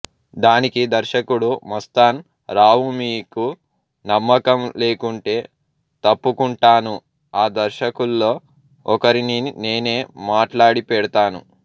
దానికి దర్శకుడు మస్తాన్ రావుమీకు నమ్మకం లేకుంటే తప్పుకుంటాను ఆ దర్శకుల్లో ఒకరిని నేనే మాట్లాడిపెడతాను